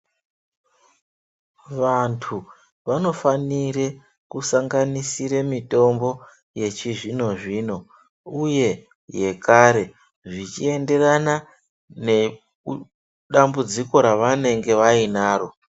Vantu vanofanire kusanganisire mitombo yechizvino zvino uye yekare zvechienderana nedambudziko revanenge vainaro.